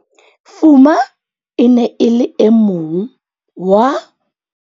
Fuma e ne e le e mong wa